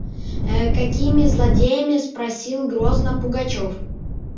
ээ какими злодеями спросил грозно пугачёв